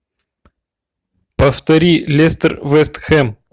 повтори лестер вест хэм